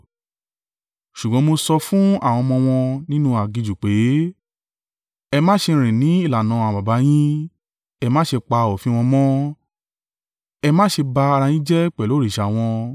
Ṣùgbọ́n mo sọ fún àwọn ọmọ wọn nínú aginjù pé, “Ẹ má ṣe rìn ní ìlànà àwọn baba yín, ẹ má ṣe pa òfin wọn mọ́, ẹ má ṣe bá ara yín jẹ́ pẹ̀lú òrìṣà wọn.